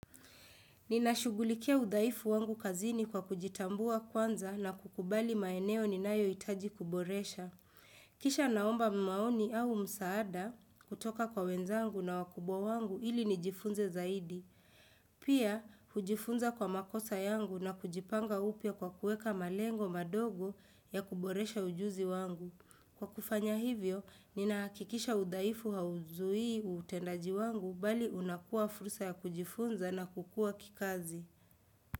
Ninashugulikia udhaifu wangu kazini kwa kujitambua kwanza na kukubali maeneo ninayohitaji kuboresha. Kisha naomba maoni au msaada kutoka kwa wenzangu na wakubwa wangu ili nijifunze zaidi. Pia, hujifunza kwa makosa yangu na kujipanga upya kwa kuweka malengo madogo ya kuboresha ujuzi wangu. Kwa kufanya hivyo, ninahakikisha udhaifu hauzuii utendaji wangu bali unakuwa fursa ya kujifunza na kukua kikazi.